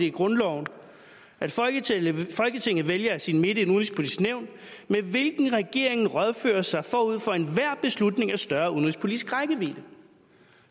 i grundloven at folketinget folketinget vælger af sin midte et udenrigspolitisk nævn med hvilket regeringen rådfører sig forud for enhver beslutning af større udenrigspolitisk rækkevidde